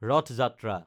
ৰথ-যাত্ৰা